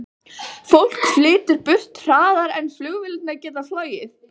Fólk flytur burt hraðar en flugvélarnar geta flogið.